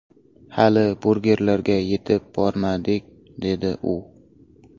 Hali burgerlarga yetib bormadik”, dedi u.